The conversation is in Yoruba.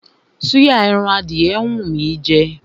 Súyà ẹran adìyẹ ń wú mí í jẹ.